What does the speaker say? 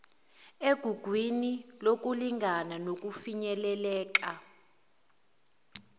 egugwini lokulingana nokufinyeleleka